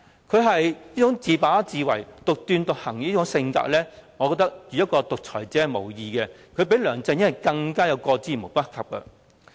她這種自把自為，獨斷獨行的性格，我認為與獨裁者無異，而與梁振英相比，她更是過之而無不及。